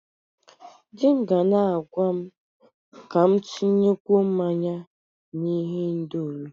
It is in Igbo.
Di m ga na-agwa m ka m tinyekwuo mmanya na ihendori.